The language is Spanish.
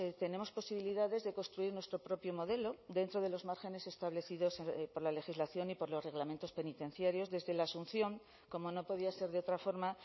tenemos posibilidades de construir nuestro propio modelo dentro de los márgenes establecidos por la legislación y por los reglamentos penitenciarios desde la asunción como no podía ser de otra forma